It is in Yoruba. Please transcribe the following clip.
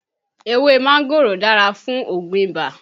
Ewé máńgòrò dára fún Ògùn ibà